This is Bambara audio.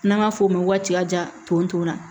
N'an b'a f'o ma waatija tontɔ la